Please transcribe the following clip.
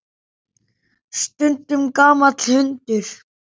Stundum gamall hundur.